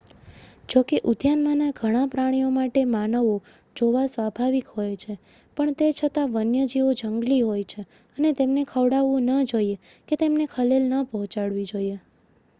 જોકે ઉદ્યાનમાંના ઘણાં પ્રાણીઓ માટે માનવો જોવા સ્વાભાવિક હોય છે પણ તે છતાં વન્યજીવો જંગલી હોય છે અને તેમને ખવડાવવું ન જોઈએ કે તેમને ખલેલ ન પહોંચાડવી જોઈએ